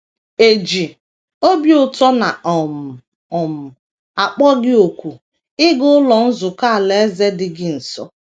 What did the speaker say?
E ji obi ụtọ na um - um akpọ gị òkù ịga Ụlọ Nzukọ Alaeze dị gị nso.